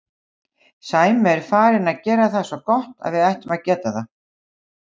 Sæmi er farinn að gera það svo gott að við ættum að geta það.